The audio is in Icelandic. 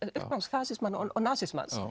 fasismans og nasismans